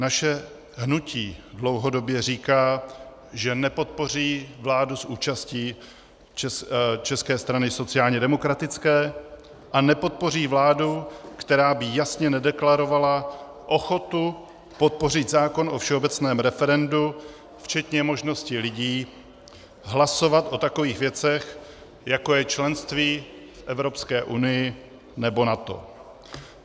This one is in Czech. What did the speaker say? Naše hnutí dlouhodobě říká, že nepodpoří vládu s účastí České strany sociálně demokratické a nepodpoří vládu, která by jasně nedeklarovala ochotu podpořit zákon o všeobecném referendu včetně možnosti lidí hlasovat o takových věcech, jako je členství v Evropské unii nebo NATO.